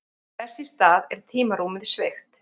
Þess í stað er tímarúmið sveigt.